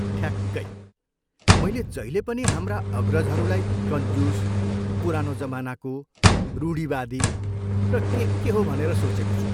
ठ्याक्कै! मैले जहिले पनि हाम्रा अग्रजहरूलाई कन्जुस, पुरानो जमानाको, रूढिवादी र के के हो भनेर सोचेको छु।